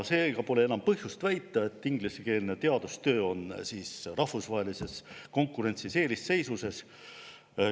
Seega pole enam põhjust väita, et ingliskeelne teadustöö on rahvusvahelises konkurentsis eelisseisuses.